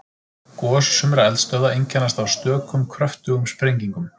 Gos sumra eldstöðva einkennast af stökum kröftugum sprengingum.